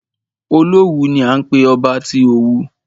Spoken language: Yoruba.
Olówù ni à ń pé ọba tí Òwu.